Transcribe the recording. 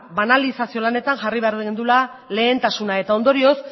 banalizazio lanetan jarri behar genuela lehentasuna eta ondorioz